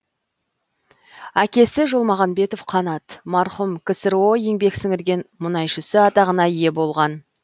әкесі жолмағанбетов қанат марқұм ксро еңбек сіңірген мұнайшысы атағына ие болған